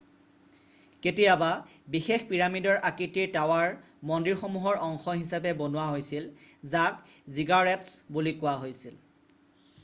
কেতিয়াবা বিশেষ পিৰামিডৰ আকৃতিৰ টাৱাৰ মন্দিৰমসূহৰ অংশ হিচাপে বনোৱা হৈছিল যাক জিগাৰেট্‌ছ বুলি কোৱা হৈছিল।